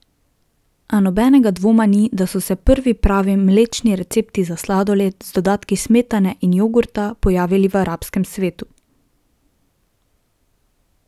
A nobenega dvoma ni, da so se prvi pravi mlečni recepti za sladoled, z dodatki smetane in jogurta, pojavili v arabskem svetu.